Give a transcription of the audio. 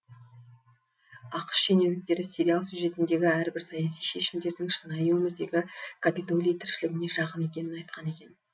ақш шенеуніктері сериал сюжетіндегі әрбір саяси шешімдердің шынайы өмірдегі капитолий тіршілігіне жақын екенін айтқан екен